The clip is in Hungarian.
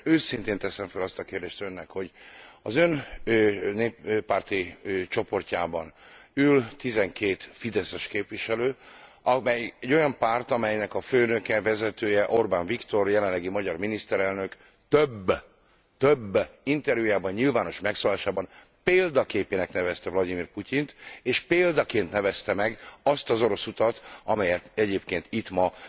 Egyszerűen őszintén teszem fel azt a kérdést Önnek, hogy az Ön néppárti csoportjában ül 12 fideszes képviselő, amely egy olyan párt, amelynek a főnöke, vezetője Orbán Viktor, jelenlegi magyar miniszterelnök, több, TÖBB interjújában, nyilvános megszólalásában példaképének nevezte Vlagyimir Putyint, és példaként nevezte meg azt az orosz utat, amelyet egyébként itt ma